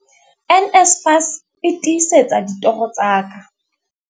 NSFAS e tiisetsa ditoro tsa ka.